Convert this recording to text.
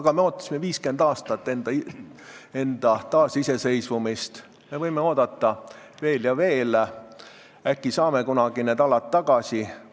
Aga me ootasime 50 aastat enda taasiseseisvumist ning võime oodata veel ja veel, äkki saame kunagi need alad tagasi.